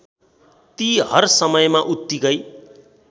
ती हरसमयमा उत्तिकै